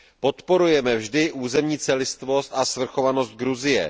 Podporujeme vždy územní celistvost a svrchovanost Gruzie.